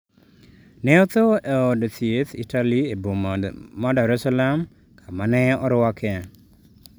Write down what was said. Ne otho e od thiethItaly e boma Dar es Salaam kama ne orwake.